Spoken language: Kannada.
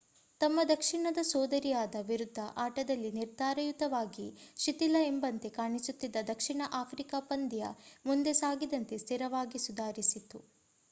ತಮ್ಮ ದಕ್ಷಿಣದ ಸೋದರಿಯರ ವಿರುದ್ಧ ಆಟದಲ್ಲಿ ನಿರ್ಧಾರಯುತವಾಗಿ ಶಿಥಿಲ ಎಂಬಂತೆ ಕಾಣಿಸುತ್ತಿದ್ದ ದಕ್ಷಿಣ ಆಫ್ರಿಕಾ ಪಂದ್ಯ ಮುಂದೆ ಸಾಗಿದಂತೆ ಸ್ಥಿರವಾಗಿ ಸುಧಾರಿಸಿತು